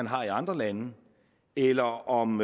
har i andre lande eller om